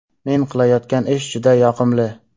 Men qilayotgan ish juda yoqimli.